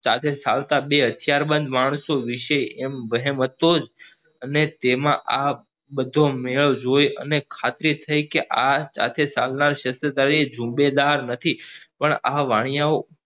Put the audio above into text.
સાથે આવતા બે હથિયારબંધ માણસો વિશે એમ વહેમ હતો જ અને આ બધો જોઈ અને ખાતરી થઇ કે આ સાથે ચાલનાર ક્ષેત્રધારી સુબેદાર નથી પણ આ વાણિયાઓ